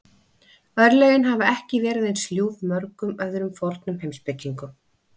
Örlögin hafa ekki verið eins ljúf mörgum öðrum fornum heimspekingum.